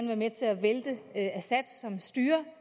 være med til at vælte assads styre